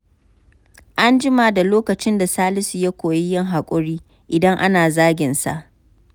An jima da lokacin da Salisu ya koyi yin hakuri idan ana zagin sa.